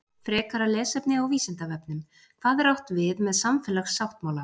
Frekara lesefni á Vísindavefnum: Hvað er átt við með samfélagssáttmála?